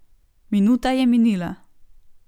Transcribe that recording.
Minuta je minila.